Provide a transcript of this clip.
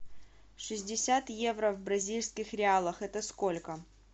шестьдесят евро в бразильских реалах это сколько